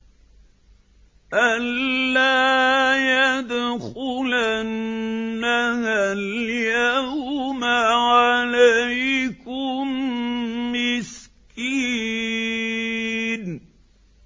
أَن لَّا يَدْخُلَنَّهَا الْيَوْمَ عَلَيْكُم مِّسْكِينٌ